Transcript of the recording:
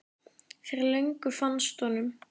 Fyrir löngu fannst honum.